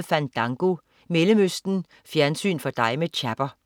Fandango, Mellemøsten. Fjernsyn for dig med Chapper